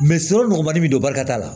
nɔgɔmani bɛ don barita la